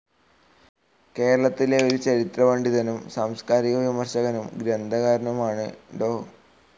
കേരളത്തിലെ ഒരു ചരിത്രപണ്ഡിതനും സാംസ്കാരിക വിമർശകനും ഗ്രന്ഥകാരനുമാണ് ഡോ.